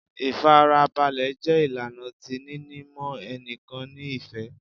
Ifarabalẹ jẹ ilana ti nini mọ ẹnikan ni ifẹ